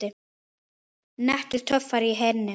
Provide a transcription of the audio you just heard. Nettur töffari í henni.